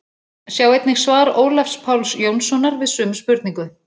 Sjá einnig svar Ólafs Páls Jónssonar við sömu spurningu.